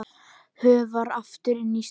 Hörfar aftur inn í stofu.